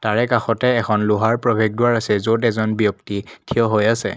তাৰে কাষতে এখন লোহাৰ প্ৰৱেশদ্বাৰ আছে য'ত এজন ব্যক্তি থিয় হৈ আছে।